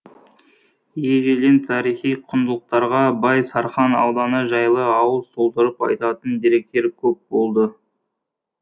ежелден тарихи құндылықтарға бай сарқан ауданы жайлы ауыз толтырып айтатын деректер көп болды